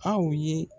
Aw ye